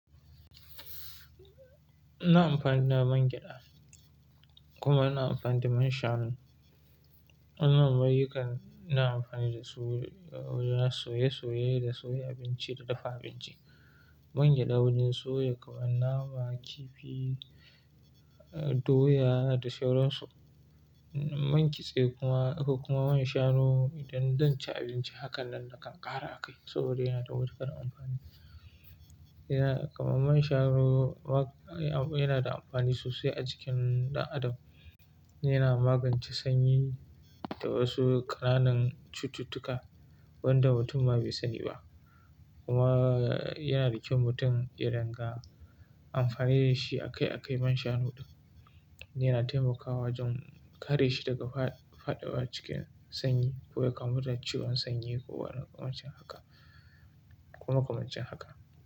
Ina amfani da man gyada kuma ina amfani da man shanu. Wannan mari kan ina amfani da su wajen soye soye da soya abinci da dafa abinci. Man gyada wajen soya kaman nama, kifi, doya da sauransu. Man kitse kuma, akwai kuma man shanu idan zan ci abinci, hakan nan da kan ƙara a kai saboda yana da matukar amfani. Yana-- kuma man shanu wa-- yana da amfani sosai a jikin dan adam. Yana magance sanyi da wasu ƙananan cututtuka wanda mutum ba bai sani ba. Kuma yana da kyau mutum ya ringa amfani da shi a kai a kai man shanu ɗin. Yana taimakawa wajen kare shi daga faɗawa cikin sanyi ko ya kamu da ciwon sanyi ko makamanci haka.